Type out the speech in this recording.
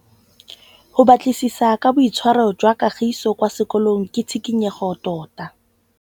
Go batlisisa ka boitshwaro jwa Kagiso kwa sekolong ke tshikinyêgô tota.